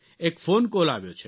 એક phone call આવ્યો છે